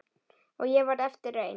Og ég varð eftir ein.